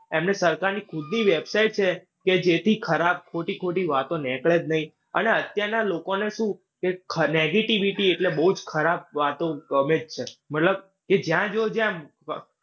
એમની સરકારની ખુદની website છે. કે જે થી ખરાબ ખોટી-ખોટી વાતો નીકળે જ નઈ. અને અત્યારના લોકો ને શું કે ખ negativity એટલે બોઉ જ ખરાબ વાતો ગમે જ છે. મતલબ કે જ્યાં જોય ત્યાં